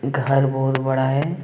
घर बहुत बड़ा है।